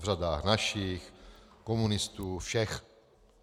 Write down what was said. V řadách našich, komunistů, všech.